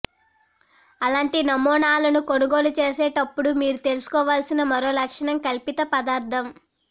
అలాంటి నమూనాలను కొనుగోలు చేసేటప్పుడు మీరు తెలుసుకోవలసిన మరో లక్షణం కల్పిత పదార్థం